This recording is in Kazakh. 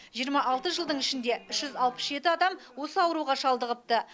жиырма алты жылдың ішінде үш жүз алпыс жеті адам осы ауруға шалдығыпты